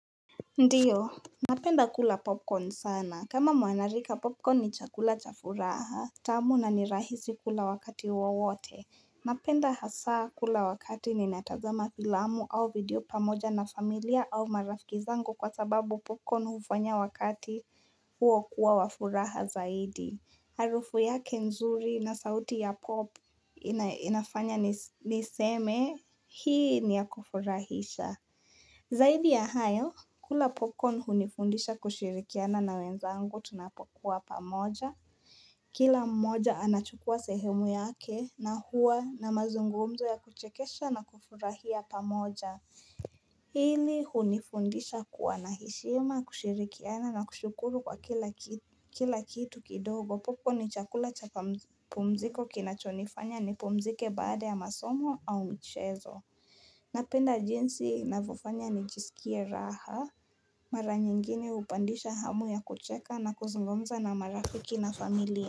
Ndiyo, napenda kula popcorn sana. Kama mwanarika popcorn ni chakula cha furaha, tamu na ni rahisi kula wakati wowote. Napenda hasa kula wakati ninatazama filamu au video pamoja na familia au marafiki zangu kwa sababu popcorn hufanya wakati huo kuwa wa furaha zaidi. Harufu yake nzuri na sauti ya pop inafanya niseme hii ni ya kufurahisha. Zaidi ya hayo, kula popcorn hunifundisha kushirikiana na wenzangu tunapokuwa pamoja. Kila mmoja anachukua sehemu yake na huwa na mazungumzo ya kuchekesha na kufurahia pamoja. Hili hunifundisha kuwa na heshima kushirikiana na kushukuru kwa kila kitu kidogo. Popcorn ni chakula cha pumziko kinachonifanya ni pumzike baada ya masomo au mchezo. Napenda jinsi inavyofanya nijisikie raha maranyingine hupandisha hamu ya kucheka na kuzungumza na marafiki na familia.